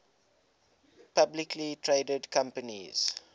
publicly traded companies